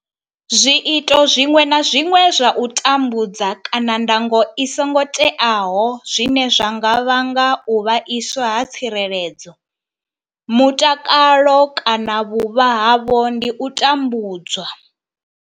Zwiito zwiṅwe na zwiṅwe zwa u tambudza kana ndango i songo teaho zwine zwa nga vhanga u vhaiswa ha tsireledzo, mutakalo kana vhuvha havho ndi u tambudzwa.